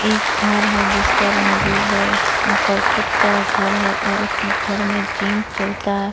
एक घर है जिसका रंग ब्लू है उसका कर्कट का घर है उसके घर में जिम चलता है ।